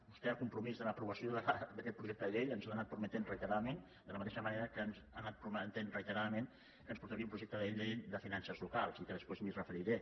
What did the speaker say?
vostè el compromís de l’aprovació d’aquest projecte de llei ens l’ha anat prometent reiteradament de la mateixa manera que ens ha anat prometent reiteradament que ens portaria un projecte de llei de finances locals i al qual després em referiré